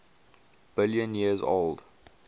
billion years old